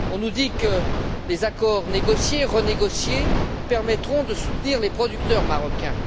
On nous dit que les accords négociés, renégociés, permettront de soutenir les producteurs marocains.